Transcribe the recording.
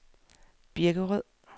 Birkerød